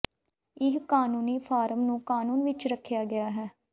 ਇਹ ਕਾਨੂੰਨੀ ਫਾਰਮ ਨੂੰ ਕਾਨੂੰਨ ਵਿੱਚ ਰੱਖਿਆ ਗਿਆ ਹੈ